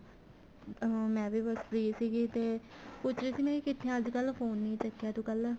ਅਹ ਮੈਂ ਵੀ ਬੱਸ free ਸੀਗੀ ਤੇ ਪੁੱਛ ਰਹੀ ਸੀ ਕਿੱਥੇ ਏ ਅੱਜ ਕੱਲ ਫੋਨ ਹੀ ਨਹੀਂ ਚੱਕਿਆ ਤੂੰ ਕੱਲ